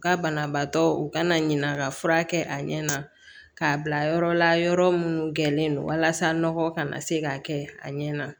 U ka banabaatɔ u kana ɲina ka fura kɛ a ɲɛ na k'a bila yɔrɔ la yɔrɔ minnu gɛrɛnen don walasa nɔgɔ kana se k'a kɛ a ɲɛ na